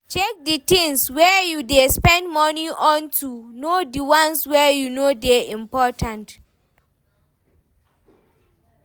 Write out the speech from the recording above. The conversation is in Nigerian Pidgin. Check di things wey you dey spend money on to know di ones wey no dey important